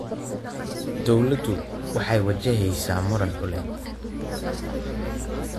Dawladdu waxay wajaheysaa muran dhuleed.